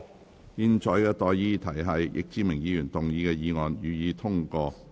我現在向各位提出的待議議題是：易志明議員動議的議案，予以通過。